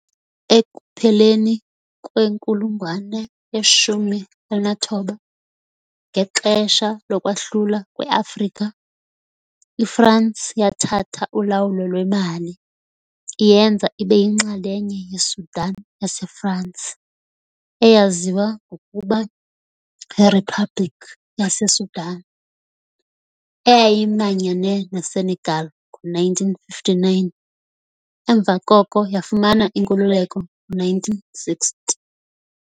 Ekupheleni kwenkulungwane ye-19, ngexesha lokwahlulwa kweAfrika, iFransi yathatha ulawulo lweMali, iyenza ibe yinxalenye yeSudan yaseFransi, eyaziwa ngokuba yiRiphabhlikhi yaseSudan, eyayimanyene neSenegal ngo-1959, emva koko yafumana inkululeko ngo-1960.